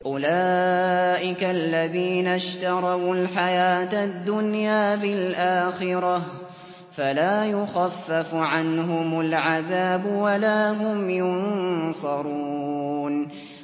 أُولَٰئِكَ الَّذِينَ اشْتَرَوُا الْحَيَاةَ الدُّنْيَا بِالْآخِرَةِ ۖ فَلَا يُخَفَّفُ عَنْهُمُ الْعَذَابُ وَلَا هُمْ يُنصَرُونَ